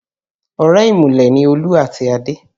Ọ̀rẹ́ ìmùlẹ̀ ni Olú àti Adé